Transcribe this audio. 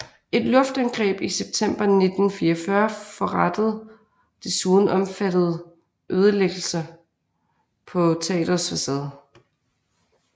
Et luftangreb i september 1944 forrettede desuden omfattende ødelæggelser på teatrets facade